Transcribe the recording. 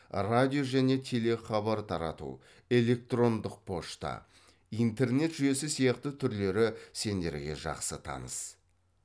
радио және телехабар тарату электрондық пошта интернет жүйесі сияқты түрлері сендерге жақсы таныс